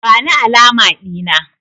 Bani alama Dina!